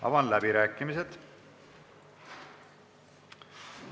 Avan läbirääkimised.